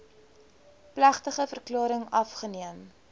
plegtige verklaring afgeneem